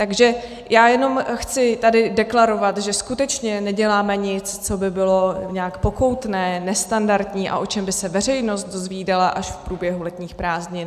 Takže já jenom chci tady deklarovat, že skutečně neděláme nic, co by bylo nějak pokoutní, nestandardní a o čem by se veřejnost dozvídala až v průběhu letních prázdnin.